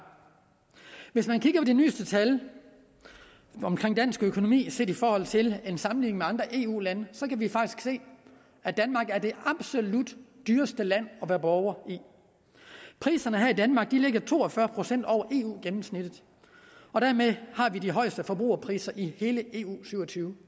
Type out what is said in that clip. hvis man kigger på de nyeste tal omkring dansk økonomi set i forhold til en sammenligning med andre eu lande så kan vi faktisk se at danmark er det absolut dyreste land at være borger i priserne her i danmark ligger to og fyrre procent over eu gennemsnittet og dermed har vi de højeste forbrugerpriser i alle eus syv og tyve